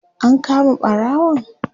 an kama ɓarawon?